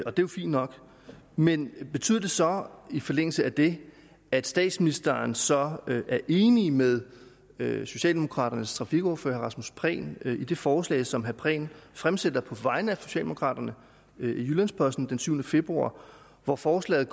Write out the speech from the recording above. er jo fint nok men betyder det så i forlængelse af det at statsministeren så er enig med med socialdemokraternes trafikordfører herre rasmus prehn i det forslag som herre prehn fremsatte på vegne af socialdemokraterne i jyllands posten den syvende februar hvor forslaget